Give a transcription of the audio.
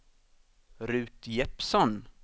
Ruth Jeppsson